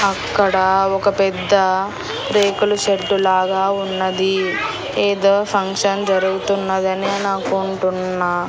అక్కడ ఒక పెద్ద రేకుల షెడ్డు లాగా ఉన్నది ఏదో ఫంక్షన్ జరుగుతున్నది అని నేనంకుంటున్న .